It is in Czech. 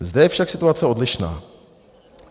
Zde je však situace odlišná.